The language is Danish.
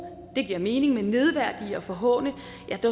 giver mening men nedværdige og forhåne